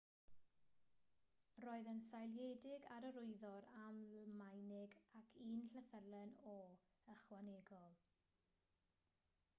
roedd yn seiliedig ar yr wyddor almaenig ac un llythyren õ/õ ychwanegol